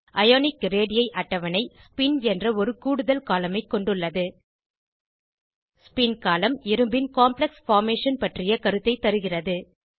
ionic radii அட்டவணை spin என்ற ஒரு கூடுதல் கோலம்ன் ஐ கொண்டுள்ளது ஸ்பின் கோலம்ன் இரும்பின் காம்ப்ளெக்ஸ் பார்மேஷன் பற்றிய கருத்தைத் தருகிறது